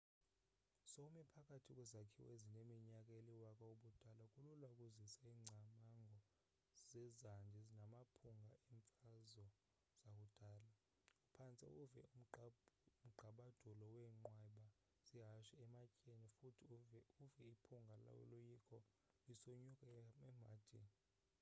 sowume phakathi kwezakhiwo ezineminyaka eliwaka-ubudala kulula ukuzisa ingcamango zezandi namaphunga eemfazo zakudala uphantse uwuve umgqabadulo weenqweba zehashe ematyeni futhi uve iphunga loloyiko lisonyuka emhadini